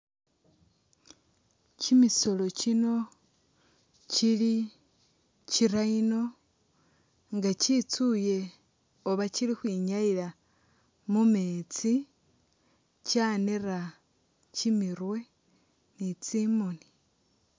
Kyimisoolo kyino kyili kyi'rhino nga kyitsuye oba kyili khwinyayila mumeetsi ,kyanera kyimiru ni tsimoni